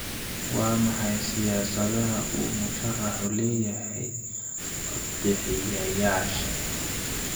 Waa maxay siyaasadaha uu musharaxu u leeyahay codbixiyayaasha?